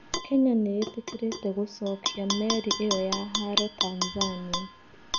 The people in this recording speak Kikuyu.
Kenya nĩ ĩtĩkĩrĩte gũcokia Meri ĩo ya haro Tanzania.